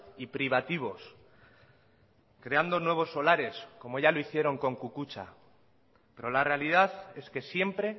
y privativos creando nuevos solares como ya lo hicieron con kukutza pero la realidad es que siempre